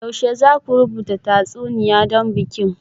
Yaushe za ku rubuta tatsuniya don bikin?